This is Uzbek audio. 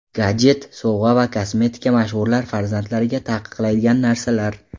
Gadjet, sovg‘a va kosmetika mashhurlar farzandlariga taqiqlaydigan narsalar.